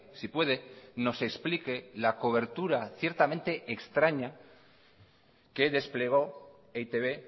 si puede nos explique la cobertura ciertamente extraña que desplegó e i te be